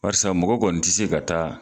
Barisa mɔgɔ kɔni ti se ka taa